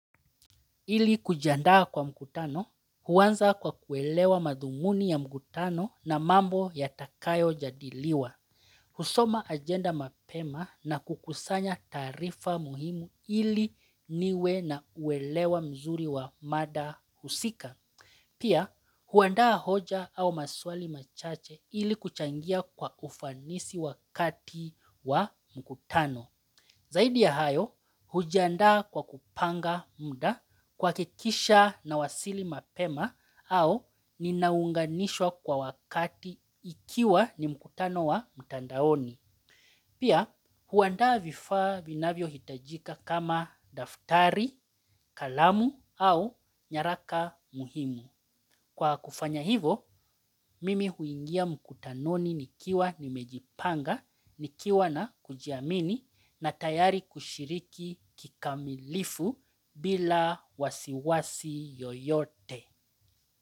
Ili kujiandaa kwa mkutano huanza kwa kuelewa madhumuni ya mkutano na mambo yatakayo jadiliwa. Husoma agenda mapema na kukusanya taarifa muhimu ili niwe na uelewa mzuri wa mada husika. Pia huandaa hoja au maswali machache ili kuchangia kwa ufanisi wakati wa mkutano. Zaidi ya hayo hujandaa kwa kupanga muda kuhakikisha nawasili mapema au ninaunganishwa kwa wakati ikiwa ni mkutano wa mtandaoni. Pia huandaa vifaa vinavyo hitajika kama daftari kalamu au nyaraka muhimu. Kwa kufanya hivo mimi huingia mkutanoni nikiwa nimejipanga, nikiwa na kujiamini na tayari kushiriki kikamilifu bila wasiwasi yoyote.